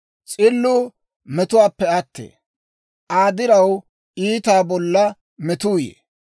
S'illuu metuwaappe attee; Aa diraw iitaa bolla metuu yee.